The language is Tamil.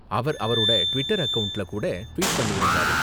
அவர் அவரோட டிவிட்டர் அக்கவுண்ட்ல கூட ட்வீட் பண்ணிருந்தாரு.